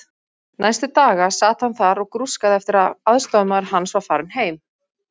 Næstu daga sat hann þar og grúskaði eftir að aðstoðarmaður hans var farinn heim.